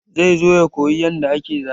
Zai zo ya koyi yanda ake zane.